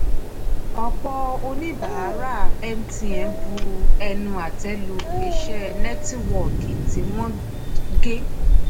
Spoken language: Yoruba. ọ̀pọ̀ oníbàárà mtn bu ẹnu àtẹ́ lu iṣẹ́ nẹ́tíwọ́ọ̀kì tí wọ́n gé.